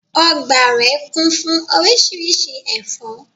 Ogbà rè kún fún orísirísi èfó